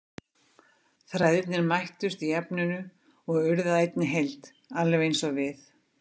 Þræðirnir mættust í efninu og urðu að einni heild, alveg eins og við.